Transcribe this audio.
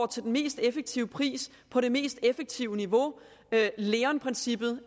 til den mest effektive pris på det mest effektive niveau at leon princippet